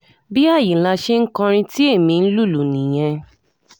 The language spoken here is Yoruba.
bí àyínlà ṣe ń kọrin tí ẹ̀mí ń lùlù nìyẹn